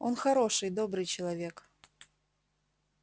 он хороший добрый человек